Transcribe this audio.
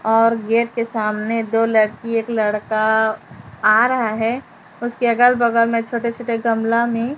और गेट के सामने दो लड़की एक लड़का आ रहा है उसके अगल बगल में छोटे छोटे गमला में--